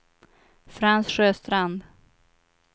Frans Sjöstrand